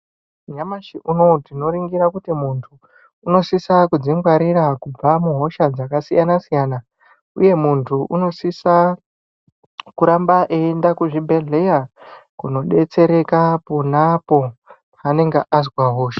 Nyamashi unowu tinoringira kuti muntu unosisa kudzingwarira kubva muhosha dzakasiyana siyana uye muntu unosisa kuramba eienda kuzvibhedhleya kodetsereka ponapo paanenge azwa hosha.